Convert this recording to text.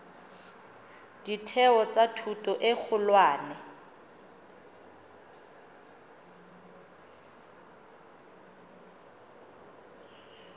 ditheo tsa thuto e kgolwane